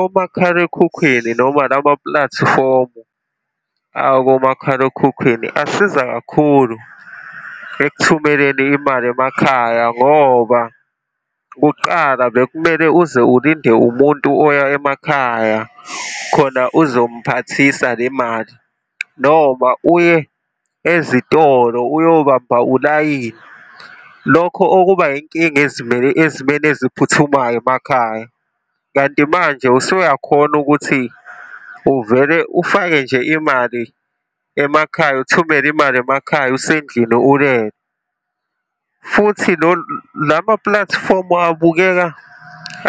Omakhalekhukhwini noma lamapulatifomu akomakhalekhukhwini asiza kakhulu ekuthumeleni imali emakhaya. Ngoba kuqala bekumele uze ulinde umuntu oya emakhaya khona ozom'phathisa le mali, noma uye ezitolo, uyobamba ulayini, lokho okuba inkinga ezimeni eziphuthumayo emakhaya. Kanti manje usuyakhona ukuthi uvele ufake nje imali emakhaya, uthumele imali emakhaya, usendlini ulele. Futhi lamapulatifomu abukeka